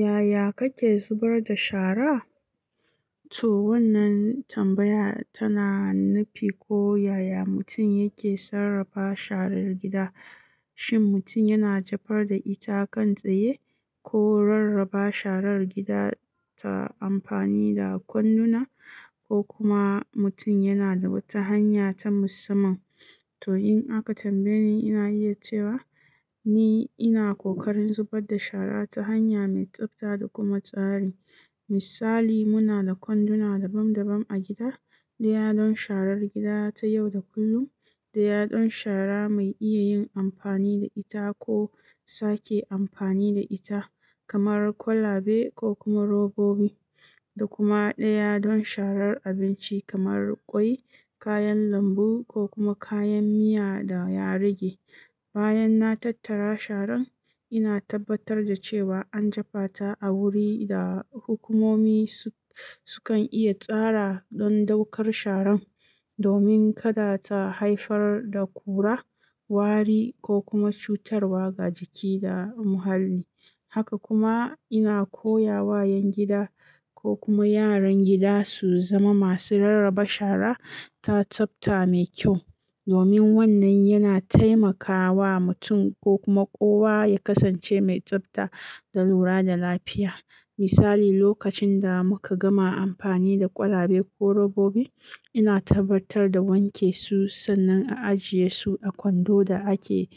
Yaya kake zubar da shara? To wannan tambaya tana nufi ko yaya mutum yake sarrafa sharar gida, shin mutum yana jefar da ita kan tsaye ko rarraba sharar gida ta amfani da kwanduna ko kuma mutum yana da wata hanya ta musamman. To in aka tambaye ni, ina iya cewa ni ina kokarin zubar da shara ta hanya mai tsabta da kuma tsari. Misali, muna da kwanduna daban daban a gida, ɗaya don sharar gida ta yau da kullum, ɗaya don shara mai iya yin amfani da ita ko sake amfani da ita kamar kwalabe ko kuma robobi, da kuma ɗaya don sharar abinci kamar ƙwai, kayan lambu ko kuma kayan miya da ya rage. Bayan na tattara sharan, ina tabbatar da cewa an jefa ta a wuri da hukumomi sukan iya tsara don ɗaukar sharan, domin kada ta haifar da kura, wari ko kuma cutarwa ga jiki da muhalli. Haka kuma ina koya wa 'yan gida ko kuma yaran gida su zama masu rarraba shara ta tsabta mai kyau, domin wannan yana taimakawa mutum ko kuma kowa ya kasance mai tsabta da lura da lafiya. Misali, lokacin da muka gama amfani da kwalabe ko robobi, ina tabbatar da wanke su sannan a ajiye su a kwando da ake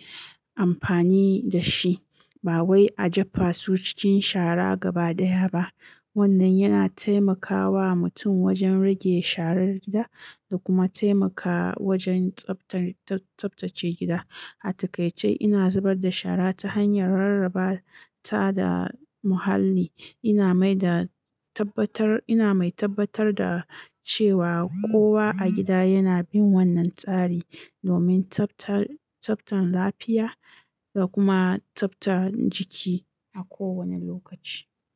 amfani da shi, ba wai a jefa su cikin shara gabaɗaya ba. Wannan yana taimakawa mutum wajen rage sharar gida da kuma taimaka wajen tsabtan- tsab- tsabtace gida. A takaice, ina zubar da shara ta hanyar rarraba ta da muhalli. Ina mai da tabbatar, ina mai tabbatar da cewa kowa a gida yana bin wannan tsari domin tsabtar, tsabtan lafiya da kuma tsabtar jiki a kowane lokaci.